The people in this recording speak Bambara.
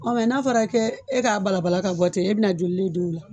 Ɔ mɛ n'a fɔra k'e k'a bala balala ka bɔ ten, e bɛna joli le don la